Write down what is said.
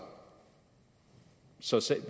så